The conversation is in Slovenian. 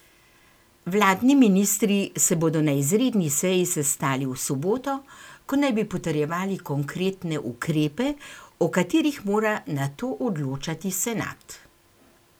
Vladni ministri se bodo na izredni seji sestali v soboto, ko naj bi potrjevali konkretne ukrepe, o katerih mora nato odločati senat.